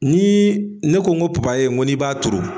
Ni ne ko n ko ni b'a turu.